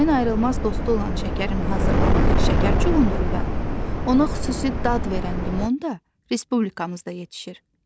Çayın ayrılmaz dostu olan şəkərin hazırlandığı şəkər çuğunduru da, ona xüsusi dad verən limon da Respublikamızda yetişir.